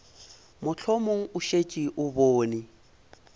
mohlomong o šetše o bone